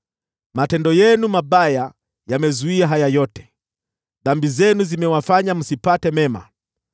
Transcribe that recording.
Matendo yenu mabaya yamezuia haya yote, dhambi zenu zimewazuia msipate mema.